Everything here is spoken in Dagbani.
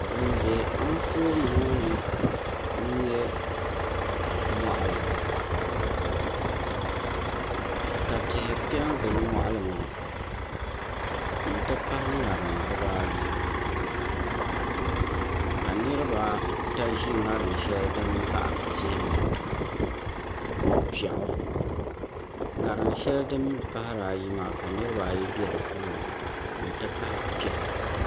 Din bɛ Anfooni ŋo ni n nyɛ moɣali ka tihi piɛ n gili moɣali maa n ti pahi ŋarim dibaayi ka niraba ata ʒi ŋarim shɛli din baɣa tia maa ni piɛɣu ŋarim shɛli din mii pahari ayi maa ka niraba ayi bɛ di puuni n ti pahi piɛɣu